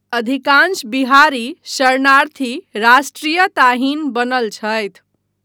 अधिकांश बिहारी शरणार्थी राष्ट्रीयताहीन बनल छथि।